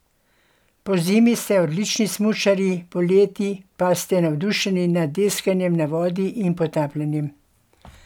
Pozimi ste odlični smučarji, poleti pa ste navdušeni nad deskanjem na vodi in potapljanjem.